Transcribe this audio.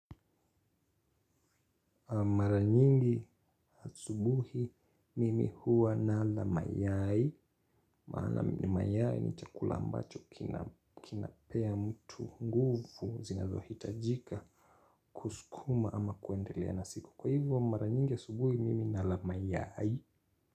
Mara nyingi asubuhi mimi huwa nala mayai. Maana mayai ni chakula ambacho kinapea mtu nguvu zinazohitajika kusukuma ama kuendelea na siku. Kwa hivyo mara nyingi ya asubuhi mimi nala mayai.